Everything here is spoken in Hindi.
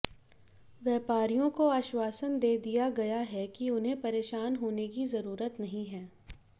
व्यापारियों को आश्वासन दे दिया गया है कि उन्हें परेशान होने की जरूरत नहीं है